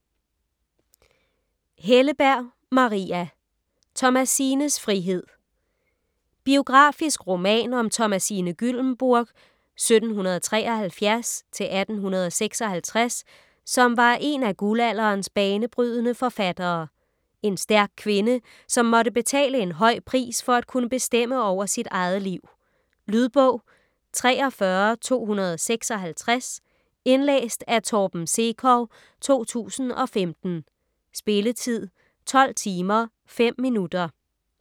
Helleberg, Maria: Thomasines frihed Biografisk roman om Thomasine Gyllembourg (1773-1856), som var en af guldalderens banebrydende forfattere. En stærk kvinde, som måtte betale en høj pris for at kunne bestemme over sit eget liv. Lydbog 43256 Indlæst af Torben Sekov, 2015. Spilletid: 12 timer, 5 minutter.